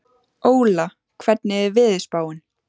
Óla, hvernig er veðurspáin?